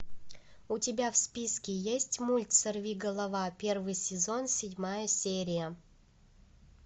у тебя в списке есть мульт сорвиголова первый сезон седьмая серия